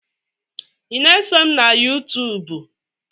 Ị na-esom na Yuutuub?